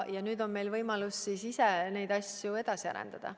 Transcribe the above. Ja nüüd on meil võimalus ise neid asju edasi arendada.